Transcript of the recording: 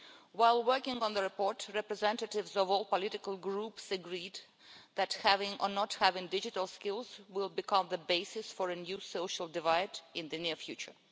While working on this report, representatives of all the political groups agreed that having or not having digital skills will become the basis of a new social divide in the near future.